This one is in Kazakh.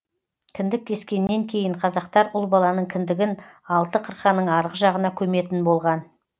кіндік кескеннен кейін қазақтар ұл баланың кіндігін алты қырқаның арғы жағына көметін болған